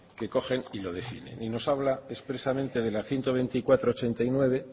que cogen y lo definen y nos habla expresamente de la ciento veinticuatro barra ochenta y nueve